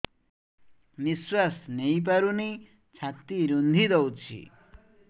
ନିଶ୍ୱାସ ନେଇପାରୁନି ଛାତି ରୁନ୍ଧି ଦଉଛି